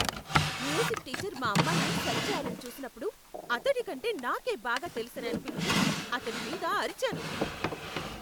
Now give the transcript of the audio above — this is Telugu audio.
మ్యూజిక్ టీచర్ మా అమ్మాయిని సరిచేయాలని చూసినప్పుడు అతడి కంటే నాకే బాగా తెలుసని అనిపించి, అతడి మీద అరిచాను.